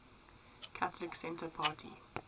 catholic centre party